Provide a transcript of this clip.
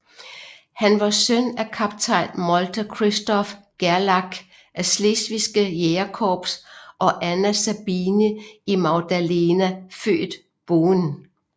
Han var søn af kaptajn Molter Christoph Gerlach af Slesvigske Jægerkorps og Anna Sabine Magdalena født Boehn